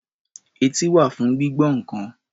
Etí wà fún gbígbọ́ nǹkan.